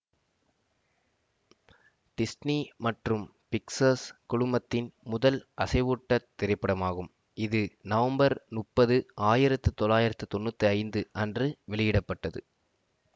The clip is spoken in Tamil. டிஸ்னி மற்றும் பிக்ஸர்ஸ் குழுமத்தின் முதல் அசைவூட்டத் திரைப்படமாகும் இது நவம்பர் முப்பது ஆயிரத்தி தொளாயிரத்தி தொன்னுத்தி ஐந்து அன்று வெளியிட பட்டது